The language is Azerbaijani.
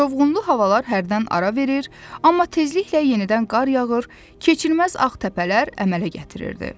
Çovğunlu havalar hərdən ara verir, amma tezliklə yenidən qar yağır, keçilməz ağ təpələr əmələ gətirirdi.